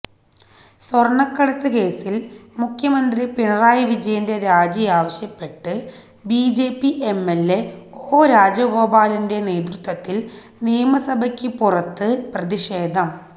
സ്വർണക്കടത്ത് കേസിൽ മുഖ്യമന്ത്രി പിണറായി വിജയന്റെ രാജി ആവശ്യപ്പെട്ട് ബിജെപി എംഎൽഎ ഒ രാജഗോപാലിന്റെ നേതൃത്വത്തിൽ നിയമസഭയ്ക്ക് പുറത്ത് പ്രതിഷേധം